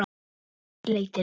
Þá hefst leitin.